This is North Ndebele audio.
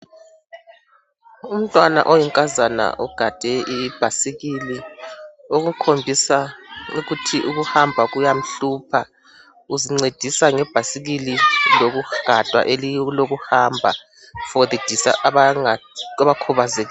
Umtwana oyinkazana ugade ibhasikili okukhombisa ukuthi ukuhamba kuyamhlupha uzincedisa ngebhasikili loku gadwa elilokoku hamba for abakhubazekileyo.